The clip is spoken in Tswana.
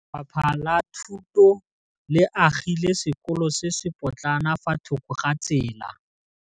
Lefapha la Thuto le agile sekôlô se se pôtlana fa thoko ga tsela.